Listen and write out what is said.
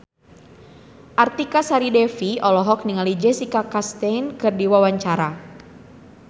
Artika Sari Devi olohok ningali Jessica Chastain keur diwawancara